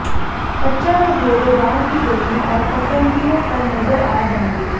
खच्चर और घोड़े गांव की गलियों और पगडंडियों पर नज़र आ जाएंगे